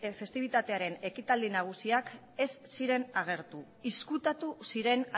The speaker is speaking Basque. festibitatearen ekitaldi nagusiak ez ziren agertu ezkutatu ziren